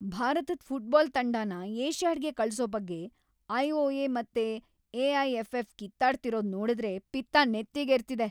ಭಾರತದ್ ಫುಟ್ಬಾಲ್ ತಂಡನ ಏಷ್ಯಾಡ್‌ಗೆ ಕಳ್ಸೋ ಬಗ್ಗೆ ಐ.ಒ.ಎ. ಮತ್ತೆ ಎ.ಐ.ಎಫ್.ಎಫ್. ಕಿತ್ತಾಡ್ತಿರೋದ್ ನೋಡುದ್ರೆ ಪಿತ್ತ ನೆತ್ತಿಗೇರ್ತಿದೆ.